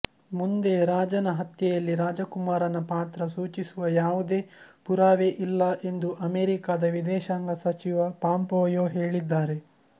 ಮುಂದೆ ರಾಜನ ಹತ್ಯೆಯಲ್ಲಿ ರಾಜಕುಮಾರನ ಪಾತ್ರ ಸೂಚಿಸುವ ಯಾವುದೇ ಪುರಾವೆ ಇಲ್ಲ ಎಂದು ಅಮೇರಿಕಾದ ವಿದೇಶಾಂಗ ಸಚಿವ ಪಾಂಪೊಯೋ ಹೇಳಿದ್ದಾರೆ